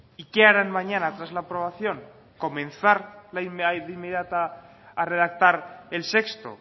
y qué harán mañana tras la aprobación comenzar la inmediata a redactar el sexto